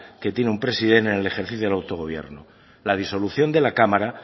que tiene un president en el ejercicio del autogobierno la disolución de la cámara